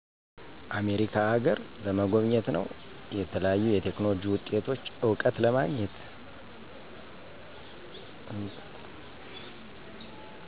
አሜሪካ አገረ ለመጎብኘት ነወ። የተለያዩ የቴክኖሎጂ ውጤቶች እውቀት ለማግኘት።